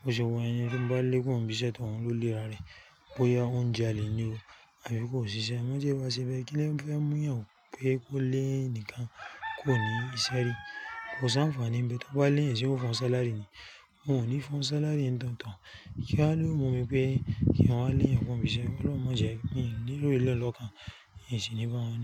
Bo ṣe wa yen ẹni tí mo bá lé kúrò ní bisẹ́, tòun ló le ra rẹ̀. Bo ya ó ń jàlè ni o, àbí kò ṣiṣẹ́. Mo a mo tí ẹ bá ṣe bẹ́ẹ̀ kíló fẹ́ mú èèyàn wo pé kó lé ẹnìkan kúrò ní iṣẹ́ rí. Kò sanfaanu n bẹ̀ tó bá lé eyan, ṣe yoó fún ọ sálárì ni. Wọn oni ní fún ọ sálárì ń gan tán. Kí wá ló mú mi pé kí n wá lé èèyàn kúrò ní ibi iṣẹ́. Ọlọ́run má jẹ́ kí ni lò eléyìí lọ́kan, n sin ni bá wọn ní.